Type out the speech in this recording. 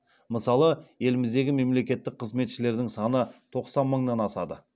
мысалы еліміздегі мемлекеттік қызметшілердің саны тоқсан мыңнан асады